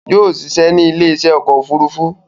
Yóò ṣiṣẹ́ ní ilé iṣẹ́ ọkọ̀ òfurufú